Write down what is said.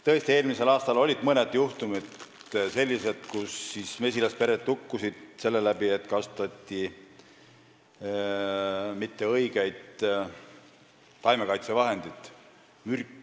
Tõesti, eelmisel aastal olid mõned juhtumid sellised, kus siis mesilaspered hukkusid selle tõttu, et ei kasutatud õiget taimekaitsevahendit.